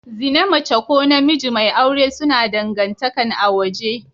Zina mace ko namiji mai aure suna dangantakan a waje.